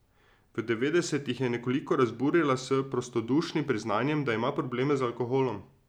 V devetdesetih je nekoliko razburila s prostodušnim priznanjem, da ima probleme z alkoholom.